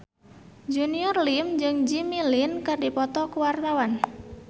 Junior Liem jeung Jimmy Lin keur dipoto ku wartawan